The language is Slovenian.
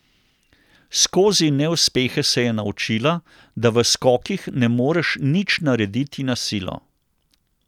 Skozi neuspehe se je naučila, da v skokih ne moreš nič narediti na silo.